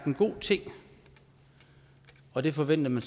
en god ting og det forventede